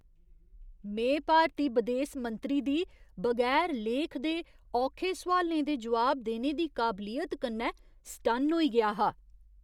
में भारती बदेस मंत्री दी बगैर लेख दे औखे सोआलें दे जवाब देने दी काबलियत कन्नै सटन्न होई गेआ हा!